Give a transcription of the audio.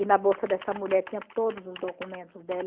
E na bolsa dessa mulher tinha todos os documentos dela.